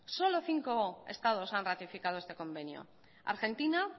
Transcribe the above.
solo cinco estados han ratificado este convenio argentina